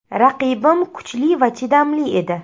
Raqibim kuchli va chidamli edi.